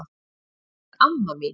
Þú ert amma mín.